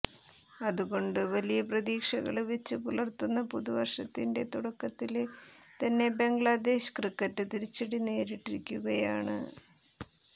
അത് കൊണ്ട് വലിയ പ്രതീക്ഷകള് വെച്ച് പുലര്ത്തുന്ന പുതുവര്ഷത്തിന്റെ തുടക്കത്തില് തന്നെ ബംഗ്ലാദേശ് ക്രിക്കറ്റ് തിരിച്ചടി നേരിട്ടിരിക്കുകയാണ്